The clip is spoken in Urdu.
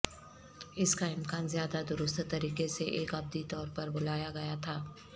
اس کا امکان زیادہ درست طریقے سے ایک ابدی طور پر بلایا گیا تھا